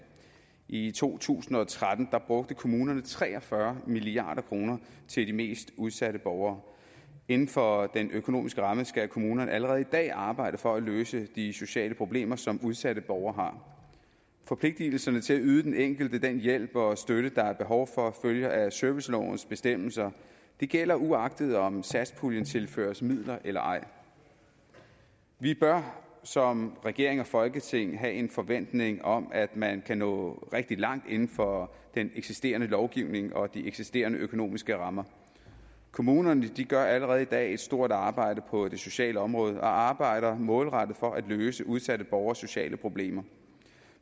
i to tusind og tretten brugte kommunerne tre og fyrre milliard kroner til de mest udsatte borgere inden for den økonomiske ramme skal kommunerne allerede i dag arbejde for at løse de sociale problemer som udsatte borgere forpligtelserne til at yde den enkelte den hjælp og støtte der er behov for følger af servicelovens bestemmelser det gælder uagtet om satspuljen tilføres midler eller ej vi bør som regering og folketing have en forventning om at man kan nå rigtig langt inden for den eksisterende lovgivning og de eksisterende økonomiske rammer kommunerne gør allerede i dag et stort arbejde på det sociale område og arbejder målrettet for at løse udsatte borgeres sociale problemer